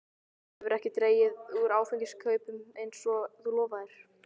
Svo hefurðu ekki dregið úr áfengiskaupunum eins og þú lofaðir.